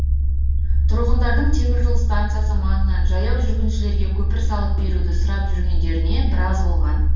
тұрғындардың теміржол станциясы маңынан жаяу жүргіншілерге көпір салып беруді сұрап жүргендеріне біраз болған